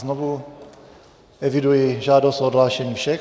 Znovu eviduji žádost o odhlášení všech.